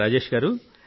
రాజేష్ గారూ